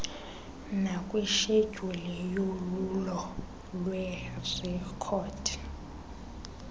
nakwishedyuli yolwulo lweerekhodi